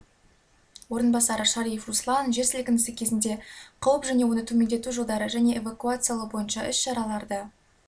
орынбасары шариев руслан жер сілкінісі кезінде қауіп және оны төмендету жолдары және эвакуациялау бойынша іс-шараларды